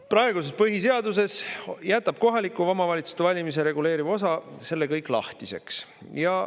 Praeguses põhiseaduses jätab kohaliku omavalitsuse valimisi reguleeriv osa selle kõik lahtiseks.